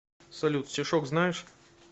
салют стишок знаешь